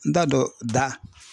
N t'a dɔn da.